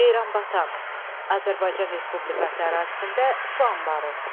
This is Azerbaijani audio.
Ceyranbatan, Azərbaycan Respublikası ərazisində su anbarı.